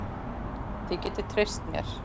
Þið getið treyst mér.